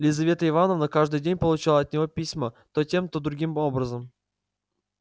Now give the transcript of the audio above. лизавета ивановна каждый день получала от него письма то тем то другим образом